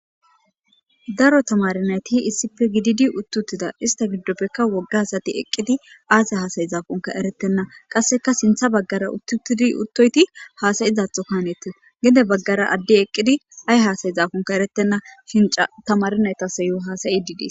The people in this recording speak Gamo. daro tamari nayti issippe gididi uttuttida ista giddoppekka woggaasati eqqidi aase haasayi zaafunka eretenna qasseka sintha baggara uttutidi uttoyti haasayizatho kaanete gede baggara addi eqqidi ay haasayi zaafunka eretenna shinca tamarinaytasayo haasayi didii